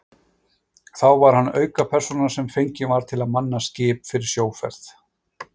Þá var hann aukapersóna sem fengin var til að manna skip fyrir sjóferð.